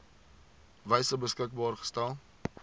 wyse beskikbaar gestel